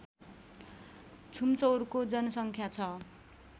छुम्चौरको जनसङ्ख्या छ